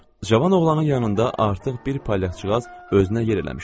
Cavan oğlanın yanında artıq bir palyaçoğaz özünə yer eləmişdi.